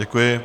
Děkuji.